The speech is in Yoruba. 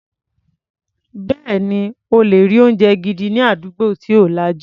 Bẹ́ẹ̀ni, o lè rí oúnjẹ gidi ní àdúgbò tí ò lajú.